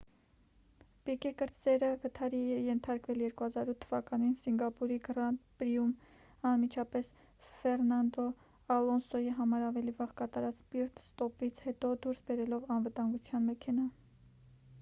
պիկե կրտսերը վթարի է ենթարկվել 2008 թ.-ին սինգապուրի գրանդ պրիում՝ անմիջապես ֆերնանդո ալոնսոյի համար ավելի վաղ կատարած պիտ-ստոպից հետո՝ դուրս բերելով անվտանգության մեքենան։